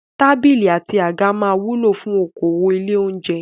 Tábìlì àti àga máa wúlò fún okòwò ilé-oúnjẹ.